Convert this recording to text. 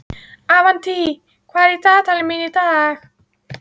Avantí, hvað er í dagatalinu mínu í dag?